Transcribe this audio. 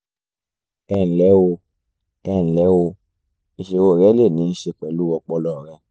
ẹnlẹ́ o ẹnlẹ́ o ìṣòro rẹ lè níí ṣe pẹ̀lú ọpọlọ rẹ